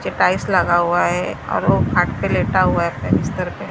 Tiles लगा हुआ है और वो घाट पे लेटा हुआ है अपने बिस्तर पे।